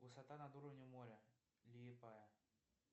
высота над уровнем моря лиепая